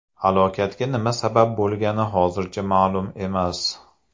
Halokatga nima sabab bo‘lgani hozircha ma’lum emas.